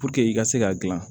i ka se k'a dilan